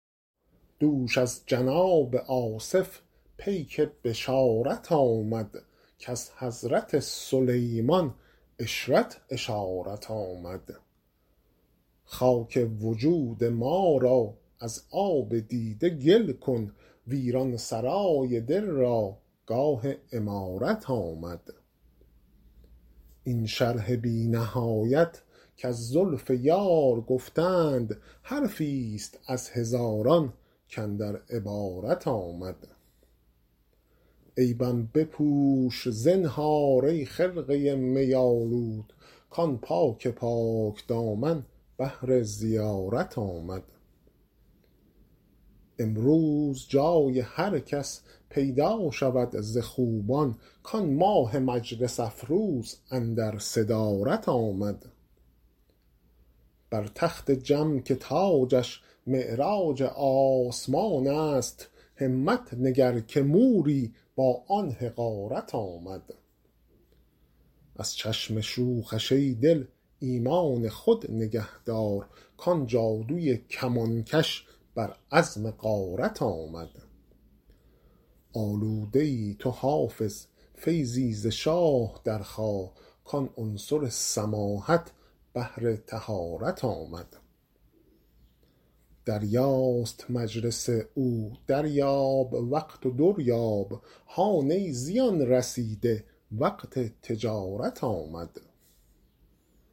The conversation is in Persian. دوش از جناب آصف پیک بشارت آمد کز حضرت سلیمان عشرت اشارت آمد خاک وجود ما را از آب دیده گل کن ویران سرای دل را گاه عمارت آمد این شرح بی نهایت کز زلف یار گفتند حرفی ست از هزاران کاندر عبارت آمد عیبم بپوش زنهار ای خرقه می آلود کآن پاک پاک دامن بهر زیارت آمد امروز جای هر کس پیدا شود ز خوبان کآن ماه مجلس افروز اندر صدارت آمد بر تخت جم که تاجش معراج آسمان است همت نگر که موری با آن حقارت آمد از چشم شوخش ای دل ایمان خود نگه دار کآن جادوی کمانکش بر عزم غارت آمد آلوده ای تو حافظ فیضی ز شاه درخواه کآن عنصر سماحت بهر طهارت آمد دریاست مجلس او دریاب وقت و در یاب هان ای زیان رسیده وقت تجارت آمد